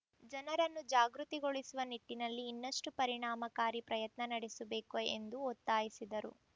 ಜನರನ್ನು ಜಾಗೃತಿಗೊಳಿಸುವ ನಿಟ್ಟಿನಲ್ಲಿ ಇನ್ನಷ್ಟುಪರಿಣಾಮಕಾರಿ ಪ್ರಯತ್ನ ನಡೆಸಬೇಕು ಎಂದು ಒತ್ತಾಯಿಸಿದರು